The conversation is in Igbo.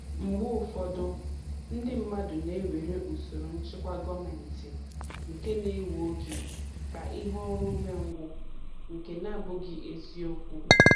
Mgbe ụfọdụ, ndị mmadụ na-ewere usoro nchịkwa gọọmentị nke na-ewe oge ka ihe ọrụ ume ngwụ, nke nabụghị ezi okwu